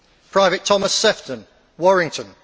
Private Thomas Sephton, Warrington